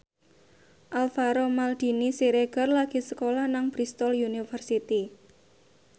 Alvaro Maldini Siregar lagi sekolah nang Bristol university